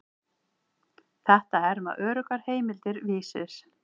Þetta herma öruggar heimildir Vísis.